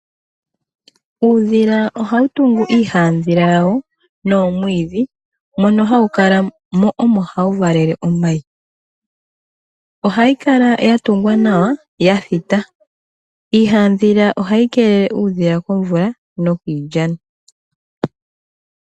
Uudhila oha wu tungu iihadhila ya wo noomwiidhi mono ha wu ka la mo omo hawu valele omayi, oha yi ka la yatungwa nawa yathita, iihadhila oha yi kelele uudhila komvula nokiilikama.